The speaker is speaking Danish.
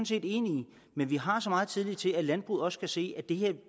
set enige i men vi har meget tillid til at landbruget også kan se at vi